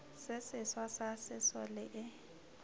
se seswa sa sesole e